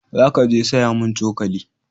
Za ka je saya mun cokali